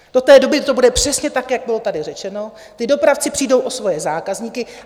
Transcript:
Do té doby to bude přesně tak, jak bylo tady řečeno, ti dopravci přijdou o svoje zákazníky.